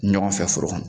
Ɲɔgɔn fɛ foro kɔnɔ